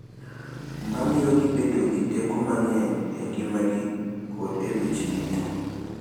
Ma miyogi bedo gi teko mang’eny e ngimagi kod e weche yuto.